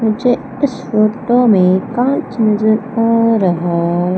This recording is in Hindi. मुझे इस फोटो में कांच नजर आ रहा--